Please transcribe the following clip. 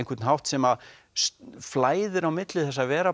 hátt sem flæðir á milli þess að vera